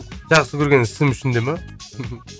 жақсы көрген ісім үшін де ма